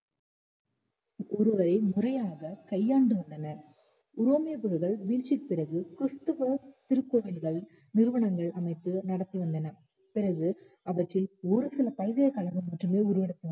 ஒருவரை முறையாக கையாண்டு உள்ளனர் ரோமியோ குழுக்கள் வீழ்ச்சிக்கு பிறகு கிறிஸ்துவ திருப்பணிகள் நிறுவனங்கள் அமைப்பு நடத்தி வந்தனர் பிறகு அவற்றில் ஒரு சில பல்கலைக் கழகங்கள் மட்டுமே உருவாக்கி